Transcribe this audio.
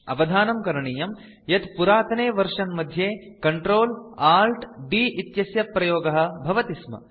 अवधानं करणीयं यत् पुरातने वर्जन मध्ये Ctrl Alt D इत्यस्य प्रयोगः भवति स्म